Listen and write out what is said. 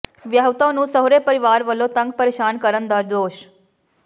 ਵਿਆਹੁਤਾ ਨੂੰ ਸਹੁਰੇ ਪਰਿਵਾਰ ਵਲੋਂ ਤੰਗ ਪੇ੍ਰਸ਼ਾਨ ਕਰਨ ਦਾ ਦੋਸ਼